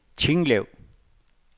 Tinglev